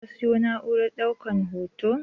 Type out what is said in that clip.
Ka siyo na'urar ɗaukan hoton?